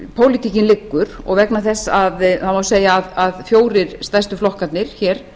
pólitíkin liggur og vegna þess að það má segja að fjórir stærstu flokkarnir hér